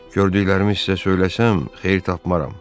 Gördüklərimi sizə söyləsəm, xeyir tapmaram.